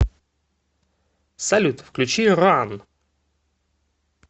салют включи ран